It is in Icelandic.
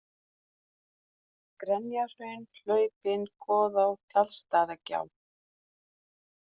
Grenjahraun, Hlaupin, Goðá, Tjaldstæðagjá